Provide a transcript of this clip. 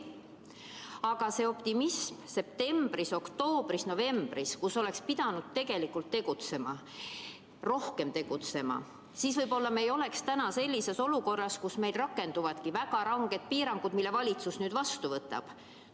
Aga septembris, oktoobris ja novembris oli optimism, kuigi oleks pidanud tegutsema, rohkem tegutsema, sest siis me võib-olla ei oleks nüüd sellises olukorras, kus rakenduvadki väga ranged piirangud, mille valitsus kehtestab.